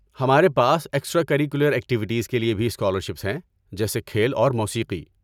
ہمارے پاس extra curricular activities کے لیے بھی اسکالرشپس ہیں، جیسے کھیل اور موسیقی۔